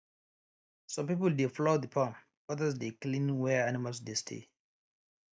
some people dey plough the farm others dey clean where animals dey stay